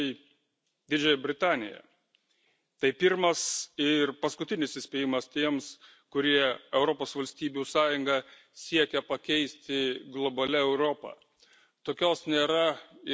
Kol kas ji prarado tiktai Didžiąją Britaniją tai pirmas ir paskutinis įspėjimas tiems, kurie Europos valstybių sąjungą siekia pakeisti globalia Europa.